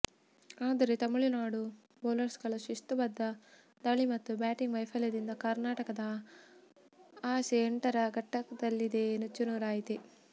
ಆದರೆ ತಮಿಳು ನಾಡು ಬೌಲರ್ಗಳ ಶಿಸ್ತುಬದ್ಧ ದಾಳಿ ಮತ್ತು ಬ್ಯಾಟಿಂಗ್ ವೈಫಲ್ಯದಿಂದ ಕರ್ನಾ ಟಕದ ಆಸೆ ಎಂಟರ ಘಟ್ಟದಲ್ಲಿಯೇ ನುಚ್ಚುನೂರಾಯಿತು